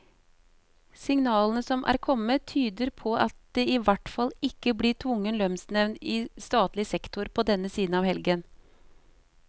Signalene som er kommet, tyder på at det i hvert fall ikke blir tvungen lønnsnevnd i statlig sektor på denne siden av helgen.